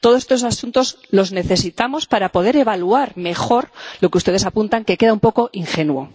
Todos estos asuntos los necesitamos para poder evaluar mejor lo que ustedes apuntan, que queda un poco ingenuo.